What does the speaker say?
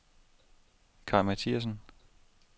Kai Mathiassen